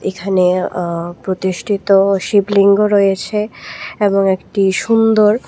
এখানে আ প্রতিষ্ঠিত শিবলিঙ্গ রয়েছে এবং একটি সুন্দর--